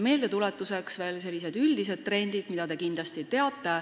Meeldetuletuseks veel sellised üldised trendid, mida te kindlasti teate.